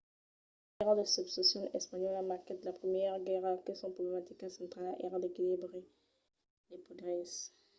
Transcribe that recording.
la guèrra de succession espanhòla marquèt la primièra guèrra que son problematica centrala èra l’equilibri de poders